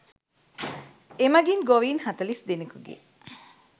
එමගින් ගොවීන් හතළිස් දෙනකුගේ